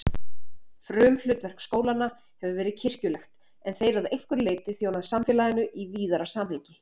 Frumhlutverk skólanna hefur verið kirkjulegt en þeir að einhverju leyti þjónað samfélaginu í víðara samhengi.